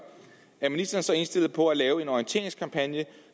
er ministeren så indstillet på at lave en orienteringskampagne